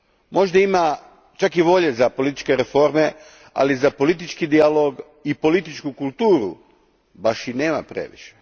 Možda ima čak i volje za političke reforme, ali za politički dijalog i političku kulturu baš i nema previše.